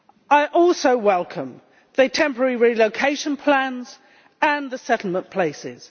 I also welcome the temporary relocation plans and the settlement places.